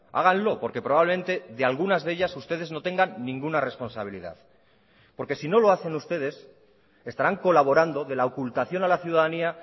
háganlo porque probablemente de algunas de ellas ustedes no tengan ninguna responsabilidad porque si no lo hacen ustedes estarán colaborando de la ocultación a la ciudadanía